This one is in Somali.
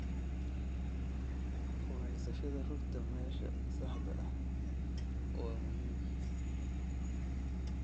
Ku haysashada rugta meesha saxda ah waa muhiim.